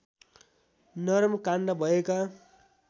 नरम काण्ड भएका